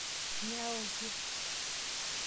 nyoo aokie?